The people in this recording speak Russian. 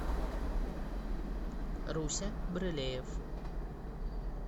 руся брылеев